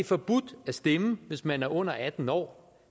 forbudt at stemme hvis man er under atten år